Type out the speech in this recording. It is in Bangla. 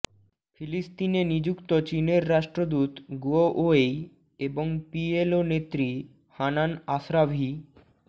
ফিলিস্তিনে নিযুক্ত চীনের রাষ্ট্রদূত গুয়ো ওয়েই এবং পিএলও নেত্রী হানান আশরাভি